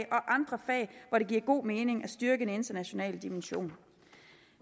andre fag hvor det giver god mening at styrke en international dimension